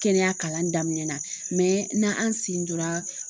Kɛnɛya kalan daminɛnna na an sen dora